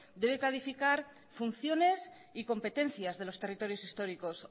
debe clarificar funciones y competencias de los territorios históricos